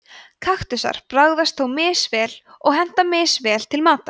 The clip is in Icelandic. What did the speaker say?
kaktusar bragðast þó misvel og henta misvel til matar